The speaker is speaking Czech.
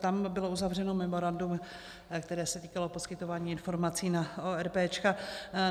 Tam bylo uzavřeno memorandum, které se týkalo poskytování informací na ORP.